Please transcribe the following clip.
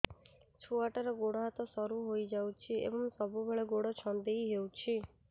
ଛୁଆଟାର ଗୋଡ଼ ହାତ ସରୁ ହୋଇଯାଇଛି ଏବଂ ସବୁବେଳେ ଗୋଡ଼ ଛଂଦେଇ ହେଉଛି